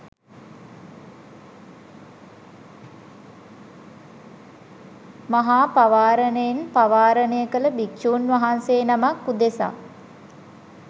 මහා පවාරණයෙන් පවාරණය කළ භික්ෂූන් වහන්සේ නමක් උදෙසා